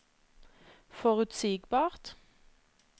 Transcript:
forutsigbart